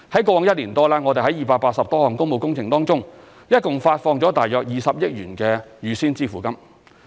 過往一年多，我們在280多項工務工程中，共發放約20億元預先支付金。